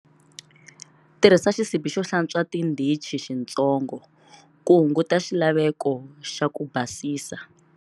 Tirhisa xisibi xo hlantswa tindhichi xitsongo, ku hunguta xilaveko xa ku basisa.